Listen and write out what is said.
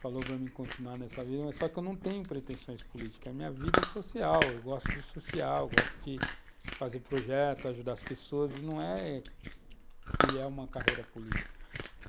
falou para mim continuar nessa vida, mas só que eu não tenho pretensões políticas, a minha vida é social, eu gosto do social, gosto de fazer projetos, ajudar as pessoas, não é trilhar uma carreira política.